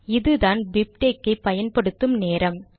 இதுதான் பிப்டெக்ஸ் ஐ பயன்படுத்தும் நேரம்